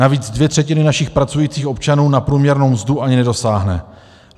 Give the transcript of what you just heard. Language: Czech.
Navíc dvě třetiny našich pracujících občanů na průměrnou mzdu ani nedosáhnou.